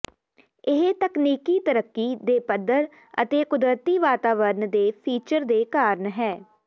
ਇਹ ਤਕਨੀਕੀ ਤਰੱਕੀ ਦੇ ਪੱਧਰ ਅਤੇ ਕੁਦਰਤੀ ਵਾਤਾਵਰਨ ਦੇ ਫੀਚਰ ਦੇ ਕਾਰਨ ਹੈ